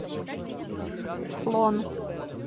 слон